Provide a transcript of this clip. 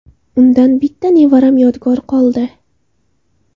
Undan bitta nevaram yodgor qoldi.